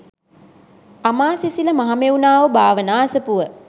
අමාසිසිල මහමෙව්නාව භාවනා අසපුව